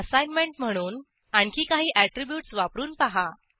assignment म्हणून आणखी काही ऍट्रिब्यूटस वापरून पहा